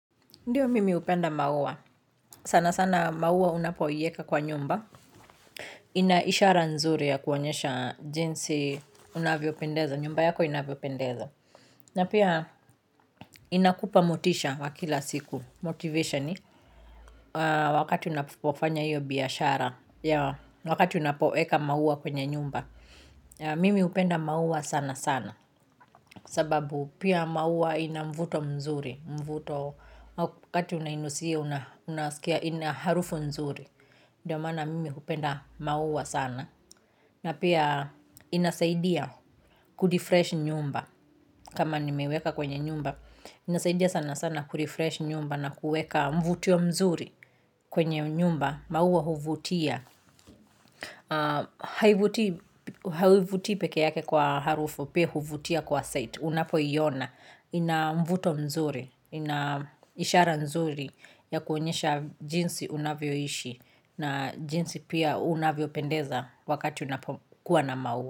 Ndiyo mimi hupenda maua, sana sana maua unapoieka kwa nyumba, ina ishara nzuri ya kuonyesha jinsi unavyo pendeza, nyumba yako inavyo pendeza. Na pia inakupa motisha wa kila siku, motivation, wakati unapofanya hiyo biashara, wakati unapoeka maua kwenye nyumba. Mimi hupenda maua sana sana, sababu pia maua ina mvuto mzuri. Mvuto wakati unainusia unasikia ina harufu nzuri ndio maana mimi hupenda maua sana, na pia inasaidia kudifresh nyumba kama nimeweka kwenye nyumba inasaidia sana sana kurefresh nyumba na kueka mvutio mzuri kwenye nyumba maua huvutia. Haivuti peke yake kwa harufu pia huvutia kwa site unapo iona, ina mvuto mzuri, ina ishara nzuri ya kuonyesha jinsi unavyoishi na jinsi pia unavyo pendeza wakati unapokuwa na maua.